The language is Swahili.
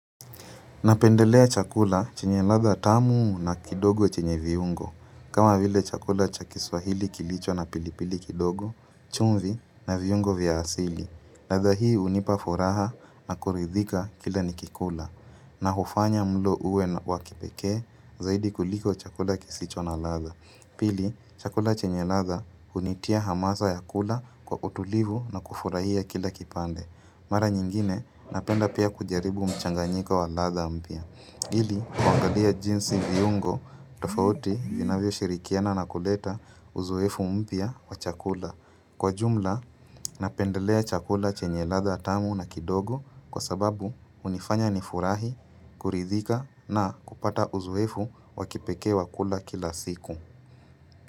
Napendelea chakula chenye latha tamu na kidogo chenye viungo. Kama vile chakula cha kiswahili kilicho na pilipili kidogo, chumvi na viungo vya asili. Latha hii hunipa furaha na kuridhika kila nikikula na hufanya mlo uwe wakipekee zaidi kuliko chakula kisicho na latha. Pili, chakula chenye latha hunitia hamasa ya kula kwa utulivu na kufurahia kila kipande. Mara nyingine napenda pia kujaribu mchanganyika wa latha mpya. Hili, kuangalia jinsi viungo, tofauti vinavyo shirikiana na kuleta uzoefu mpya wa chakula. Kwa jumla, napendelea chakula chenye latha tamu na kidogo kwa sababu hunifanya nifurahi, kuridhika na kupata uzoefu wakipekee wa kula kila siku.